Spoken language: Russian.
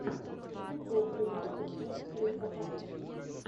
футбол юнайтед против аристократов